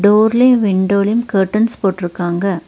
டோர்லுயு விண்டோலுயு கர்ட்டன்ஸ் போட்ருக்காங்க.